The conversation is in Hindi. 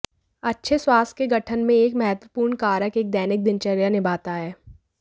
अच्छे स्वास्थ्य के गठन में एक महत्वपूर्ण कारक एक दैनिक दिनचर्या निभाता है